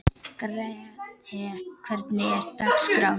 Grethe, hvernig er dagskráin?